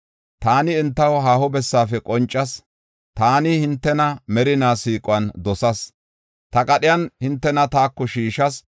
Taani entaw haaho bessafe qoncas; taani hintena merina siiquwan dosas; ta qadhiyan hintena taako shiishas.